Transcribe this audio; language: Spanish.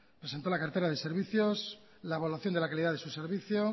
presentó la cartera de servicios la evaluación de la calidad de su servicio